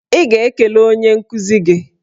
Ị ga-ekele onye nkuzi gị!